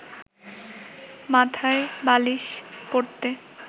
মাথায় বালিশ পড়তে